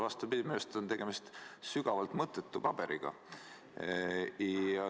Vastupidi, minu meelest on tegemist sügavalt mõttetu paberiga.